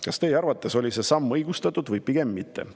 Kas teie arvates oli see samm õigustatud või pigem mitte?